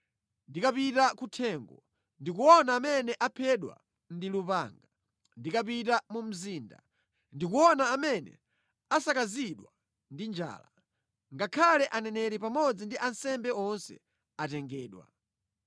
Ndikapita kuthengo, ndikuona amene aphedwa ndi lupanga; ndikapita mu mzinda, ndikuona amene asakazidwa ndi njala. Ngakhale aneneri pamodzi ndi ansembe onse atengedwa.’ ”